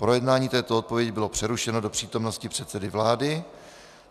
Projednání této odpovědi bylo přerušeno do přítomnosti předsedy vlády.